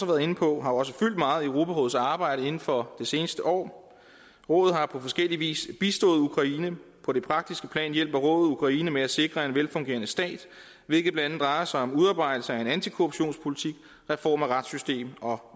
været inde på har også fyldt meget i europarådets arbejde inden for det seneste år rådet har på forskellig vis bistået ukraine på det praktiske plan hjælper rådet ukraine med at sikre en velfungerende stat hvilket blandt andet drejer sig om udarbejdelse af en antikorruptionspolitik reform af retssystem og